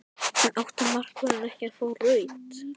En átti markvörðurinn ekki að fá rautt?